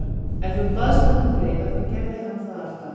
Ef þú baðst hann um greiða þá gerði hann það alltaf.